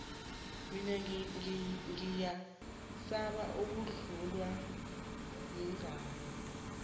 mina ngiyasaba ukuhlungwa maqangi